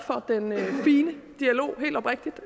helt oprigtigt